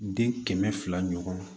Den kɛmɛ fila ɲɔgɔn